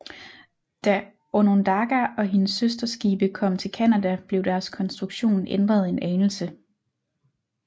Da Onondaga og hendes søsterskibe kom til Canada blev deres konstruktion ændret en anelse